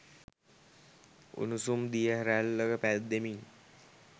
උණුසුම් දිය රැල්ලක පැද්දෙමින්